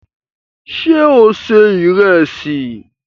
Sé o ṣe ìrẹsì?